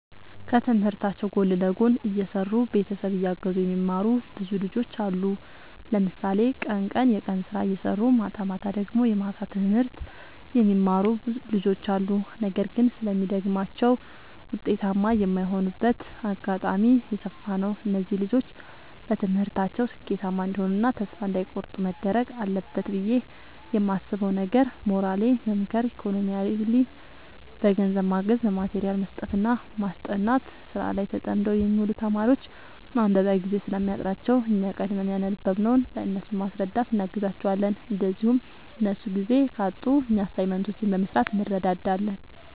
ከትምህርታቸው ጎን ለጎን እየሰሩ ቤተሰብ እያገዙ የሚማሩ ብዙ ልጆች አሉ። ለምሳሌ ቀን ቀን የቀን ስራ እየሰሩ ማታማታ ደግሞ የማታ ትምህርት የሚማሩ ልጆች አሉ። ነገር ግን ስለሚደግማቸው ውጤታማ የማይሆኑበት አጋጣሚ የሰፋ ነው። እነዚህ ልጆች በትምህርታቸው ስኬታማ እንዲሆኑ እና ተስፋ እንዳይ ቆርጡ መደረግ አለበት ብዬ የማስበው ነገር ሞራሊ መምከር ኢኮኖሚካሊ በገንዘብ ማገዝ በማቴሪያል መስጠትና ማስጠናት። ስራ ላይ ተጠምደው የሚውሉ ተማሪዎች ማንበቢያ ጊዜ ስለሚያጥራቸው እኛ ቀድመን ያነበብንውን ለእነሱ በማስረዳት እናግዛቸዋለን እንዲሁም እነሱ ጊዜ ካጡ እኛ አሳይመንቶችን በመስራት እንረዳዳለን